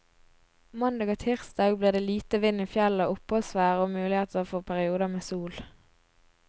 Mandag og tirsdag blir det lite vind i fjellet, oppholdsvær og mulighet for perioder med sol.